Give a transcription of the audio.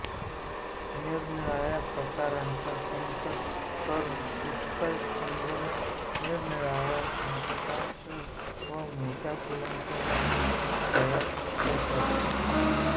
निरनिराळ्या प्रकारांत संकर करून पुष्कळ ठेंगण्या निरनिराळ्या रंगछटांच्या व मोठ्या फुलांच्या जाती तयार करतात